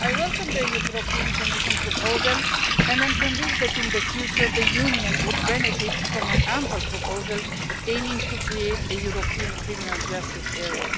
I welcome the Commission proposal and am convinced that in the future the Union would benefit from an ample proposal aiming to create a European criminal justice area.